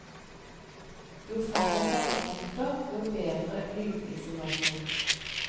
Jo færre festepunkter, jo bedre lydisolasjon.